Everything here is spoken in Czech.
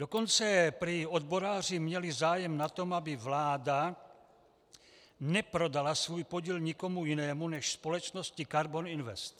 Dokonce prý odboráři měli zájem na tom, aby vláda neprodala svůj podíl nikomu jinému než společnosti Karbon Invest.